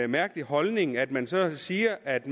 mærkelig holdning at man så siger at